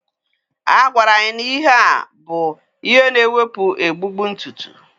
A gwara anyị na ihe a bụ ihe na-ewepụ egbugbu ntutu